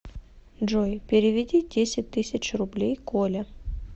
джой переведи десять тысяч рублей коле